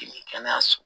kɛnɛyaso